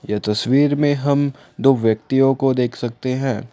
यह तस्वीर में हम दो व्यक्तियों को देख सकते हैं।